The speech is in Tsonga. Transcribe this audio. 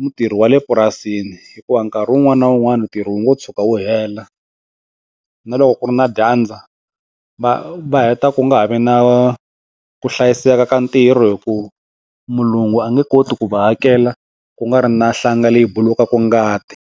mutirhi wale purasini hikuva nkarhi wun'wani na wun'wani ntirho wo tshuka wu hela na loko ku ri na dyandza va va heta ku nga ha vi na ku hlayiseka ka ntirho hi ku mulungu a nge koti ku va hakela ku nga ri na nhlanga leyi bulukaka ngati.